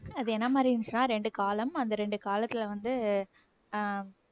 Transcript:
அது என்ன மாதிரி இருந்துச்சுன்னா இரண்டு column அந்த இரண்டு காலத்துல வந்து அஹ்